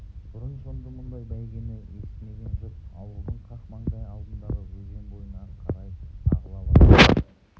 бұрын-сонды мұндай бәйгені естімеген жұрт ауылдың қақ мандай алдындағы өзен бойына қарай ағыла бастады